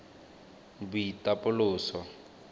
boitapoloso